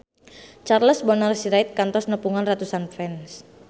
Charles Bonar Sirait kantos nepungan ratusan fans